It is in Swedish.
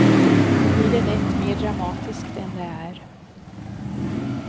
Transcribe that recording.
Då blir det lätt mer dramatiskt än det är.